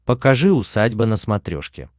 покажи усадьба на смотрешке